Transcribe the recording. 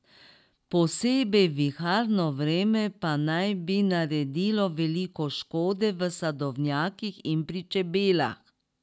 Posebej viharno vreme pa naj bi naredilo veliko škode v sadovnjakih in pri čebelah.